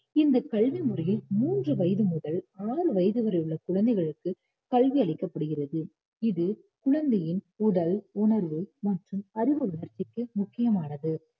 இந்தக் கல்வி முறையில் மூன்று வயது முதல் ஆறு வயது வரை உள்ள குழந்தைகளுக்கு கல்வி அளிக்கப்படுகிறது இது குழந்தையின் உடல், உணர்வு மற்றும் அறிவு வளர்ச்சிக்கு முக்கியமானது